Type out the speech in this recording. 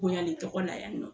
Bonyali tɔgɔ la yan nɔ